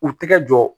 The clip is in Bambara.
U tɛgɛ jɔ